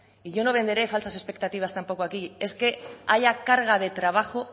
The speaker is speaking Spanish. y yo no venderé falsas expectativas tampoco aquí es que haya carga de trabajo